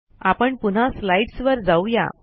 आपण पुन्हा स्लाईडस् वर जाऊ या